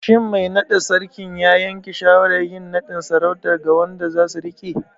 Shin mai naɗa Sarkin ya yanke shawarar yin naɗin sarautar ga wanda zasu riƙe?